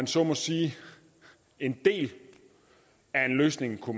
så må sige en del af en løsning for